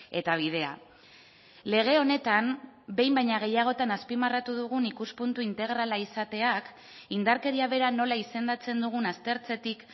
eta bidea lege honetan behin baino gehiagotan azpimarratu dugun ikuspuntu integrala izateak indarkeria bera nola izendatzen dugun aztertzetik